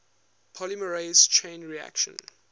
polymerase chain reaction